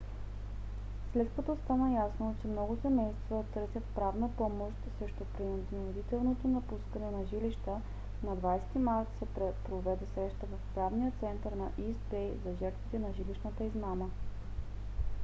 след като стана ясно че много семейства търсят правна помощ срещу принудителното напускане на жилища на 20-и март се проведе среща в правния център на ийст бей за жертвите на жилищната измама